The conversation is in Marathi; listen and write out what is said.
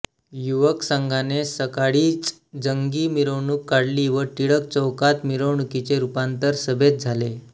युवक संघाने सकाळीच जंगी मिरवणूक काढली व टिळक चौकात मिरवणुकीचे रुपांतर सभेत झाले